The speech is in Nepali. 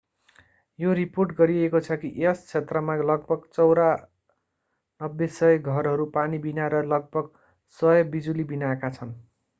यो रिपोर्ट गरिएको छ कि यस क्षेत्रमा लगभग 9400 घरहरू पानीबिना र लगभग 100 बिजुलीबिनाका छन्